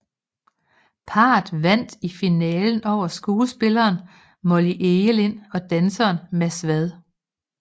Parret vandt i finalen over skuespilleren Molly Egelind og danseren Mads Vad